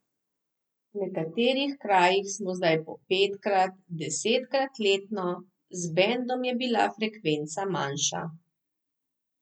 V nekaterih krajih smo zdaj po petkrat, desetkrat letno, z bendom je bila frekvenca manjša ...